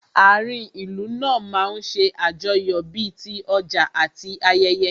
Ààrin ìlú náà máa ń ṣe àjọyọ̀ bí ti ọjà àti ayẹyẹ